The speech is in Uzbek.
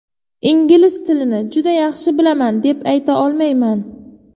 Ingliz tilini juda yaxshi bilaman, deb ayta olmayman.